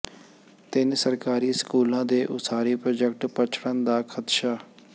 ਤਿੰਨ ਸਰਕਾਰੀ ਸਕੂਲਾਂ ਦੇ ਉਸਾਰੀ ਪ੍ਰਾਜੈਕਟ ਪਛੜਨ ਦਾ ਖ਼ਦਸ਼ਾ